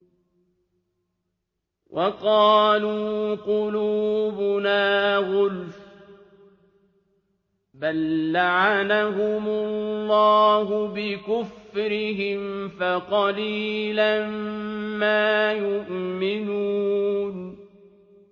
وَقَالُوا قُلُوبُنَا غُلْفٌ ۚ بَل لَّعَنَهُمُ اللَّهُ بِكُفْرِهِمْ فَقَلِيلًا مَّا يُؤْمِنُونَ